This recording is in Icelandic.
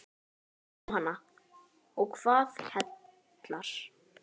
Jóhanna: Og hvað heillar?